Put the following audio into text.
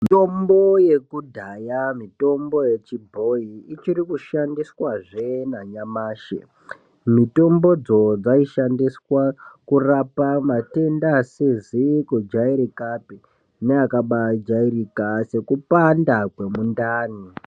Mitombo yekudhaya mitombo yechibhoyi ichikushandiswazve nanyamashi, mitombodzo dzaishandiswa kurapa matenda asizi kujairikapi neakabajairika sekupanda kwemundani.